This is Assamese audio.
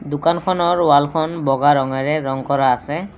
দোকানখনৰ ৱালখন বগা ৰঙেৰে ৰং কৰা আছে।